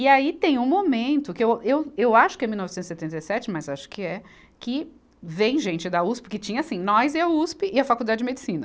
E aí tem um momento, que eu, eu, eu acho que é mil novecentos e setenta e sete, mas acho que é, que vem gente da Uspe, que tinha assim, nós e a Uspe e a Faculdade de Medicina.